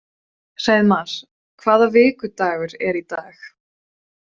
Hreiðmar, hvaða vikudagur er í dag?